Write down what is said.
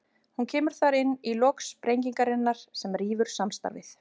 Hún kemur þar inn í lok sprengingarinnar sem rýfur samstarfið.